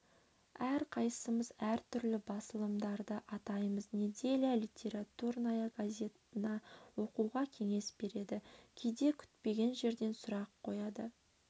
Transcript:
әрқайсымыз әр түрлі басылымдарды атаймыз неделья литературная газетаны оқуға кеңес береді кейде күтпеген жерден сұрақ қояды